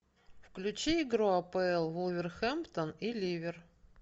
включи игру апл вулверхэмптон и ливер